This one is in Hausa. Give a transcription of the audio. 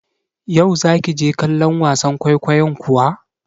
Yau za ki je kallon wasan kwaikwayon kuwa?